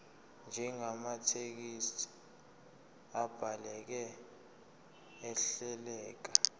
njengamathekisthi abhaleke ahleleka